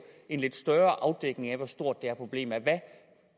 en lidt større afdækning af hvor stort det her problem er hvad